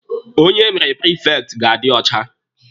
Onye emere prifekti ga-adi ọcha.